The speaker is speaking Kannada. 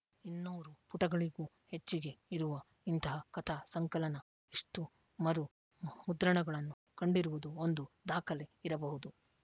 ಇನ್ನೂರು ಪುಟಗಳಿಗೂ ಹೆಚ್ಚಿಗೆ ಇರುವ ಇಂತಹ ಕಥಾ ಸಂಕಲನ ಇಷ್ಟುಮರು ಮುದ್ರಣಗಳನ್ನು ಕಂಡಿರುವುದು ಒಂದು ದಾಖಲೆ ಇರಬಹುದು